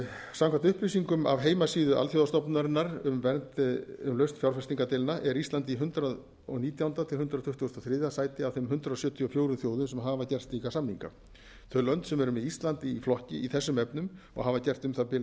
samkvæmt upplýsingum af heimasíðu alþjóðastofnunarinnar um lausn fjárfestingardeilna er ísland í hundrað og nítjánda til hundrað tuttugasta og þriðja sæti af þeim hundrað sjötíu og fjögur þjóðum sem hafa gert slíka samninga þau lönd sem eru með íslandi í flokki í þessum efnum og hafa gert um það bil